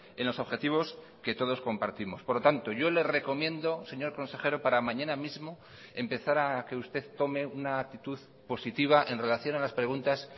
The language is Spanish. en los objetivos que todos compartimos por lo tanto yo le recomiendo señor consejero para mañana mismo empezar a que usted tome una actitud positiva en relación a las preguntas